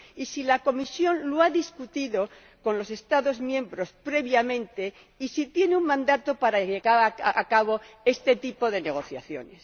si la Comisión lo ha discutido con los Estados miembros previamente y si tiene un mandato para llevar a cabo este tipo de negociaciones.